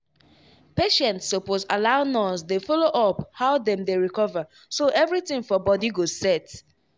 patients suppose allow nurse dey follow up how dem dey recover so everything for body go set.